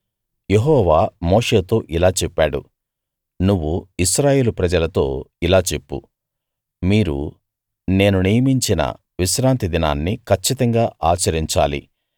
యెహోవా మోషేతో ఇలా చెప్పాడు నువ్వు ఇశ్రాయేలు ప్రజలతో ఇలా చెప్పు మీరు నేను నియమించిన విశ్రాంతి దినాన్ని కచ్చితంగా ఆచరించాలి